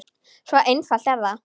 Svo einfalt er það!